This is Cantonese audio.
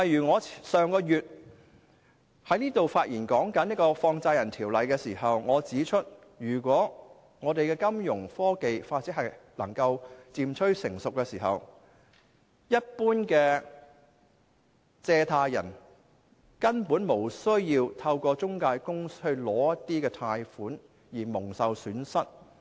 我上個月發言時提到《放債人條例》，我當時指出，如果我們的金融科技發展漸趨成熟，一般借貸人根本無須透過中介公司取得貸款，因而蒙受損失。